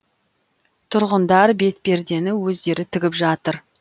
тұрғындар бетпердені өздері тігіп жатыр